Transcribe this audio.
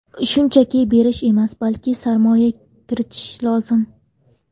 Shunchaki berish emas, balki sarmoya kiritish lozim!